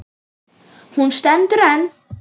Hún stendur enn.